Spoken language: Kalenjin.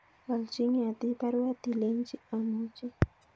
Walchin Ngetich baruet ilenchi amuchi